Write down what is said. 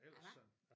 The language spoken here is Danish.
Ellers sådan